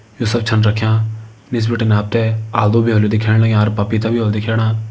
यू सब छन रख्यां निस बिटिन आप ते आलु भी होला दिखेण लग्यां अर पपीता भी होला दिखेणा।